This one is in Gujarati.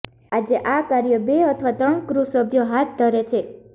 આજે આ કાર્ય બે અથવા ત્રણ ક્રૂ સભ્યો હાથ ધરે છે